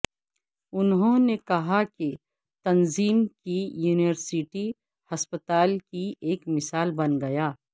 انہوں نے کہا کہ تنظیم کے یونیورسٹی ہسپتال کی ایک مثال بن گیا